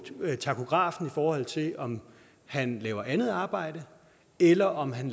tachografen i forhold til om han laver andet arbejde eller om han